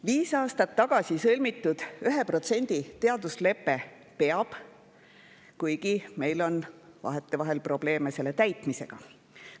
Viis aastat tagasi sõlmitud 1% teaduslepe peab, kuigi meil on vahetevahel probleeme selle täitmisega.